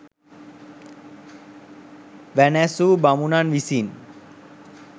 වැනැසූ බමුණන් විසින්